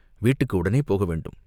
வீட்டுக்கு உடனே போக வேண்டும்.